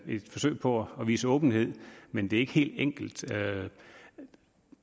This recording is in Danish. et forsøg på at vise åbenhed men det er ikke helt enkelt